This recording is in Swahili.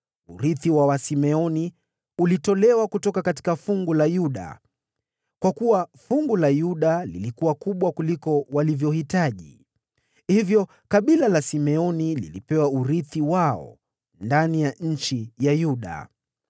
Urithi wa Wasimeoni ulitolewa kutoka fungu la Yuda, kwa kuwa fungu la Yuda lilikuwa kubwa kuliko walivyohitaji. Hivyo kabila la Simeoni lilipewa urithi wao ndani ya eneo la Yuda.